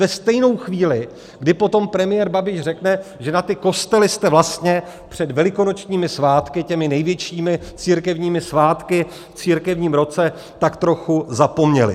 Ve stejnou chvíli, kdy potom premiér Babiš řekne, že na ty kostely jste vlastně před velikonočními svátky, těmi největšími církevními svátky v církevním roce, tak trochu zapomněli.